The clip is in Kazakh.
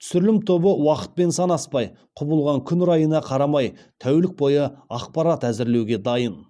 түсірілім тобы уақытпен санаспай құбылған күн райына қарамай тәулік бойы ақпарат әзірлеуге дайын